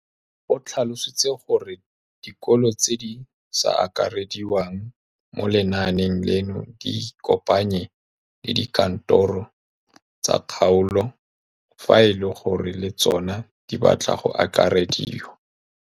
O tlhalositse gore dikolo tse di sa akarediwang mo lenaaneng leno di ikopanye le dikantoro tsa kgaolo fa e le gore le tsona di batla go akarediwa.